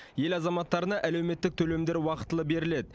ел азаматтарына әлеуметтік төлемдер уақытылы беріледі